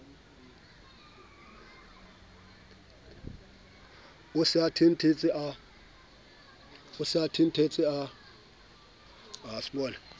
o se a thenthetsa a